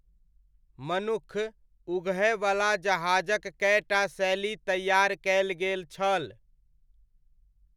मनुक्ख उगहयवला जहाजक कएटा शैली तैआर कयल गेल छल।